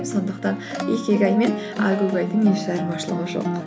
сондықтан икигай мен әгугайдың еш айырмашылығы жоқ